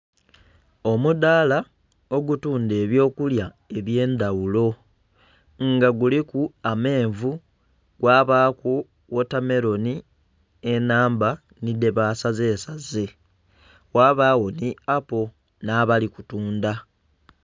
Omudaala ogutundha eby'okulya eby'endaghulo. Nga guliku amenvu, gwabaaku wotameloni, enhamba nhi dhebaasazesaze. Ghabagho nhi apple nh'abali kutundha.